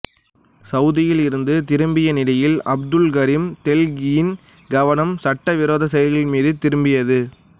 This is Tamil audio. சவுதியில் இருந்து திரும்பிய நிலையில் அப்துல் கரீம் தெல்கியின் கவனம் சட்டவிரோத செயல்கள் மீது திரும்பியது